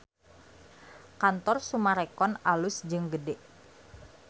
Kantor Summarecon alus jeung gede